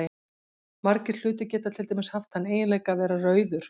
Margir hlutir geta til dæmis haft þann eiginleika að vera rauður.